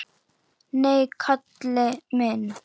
Nei, Kalli minn.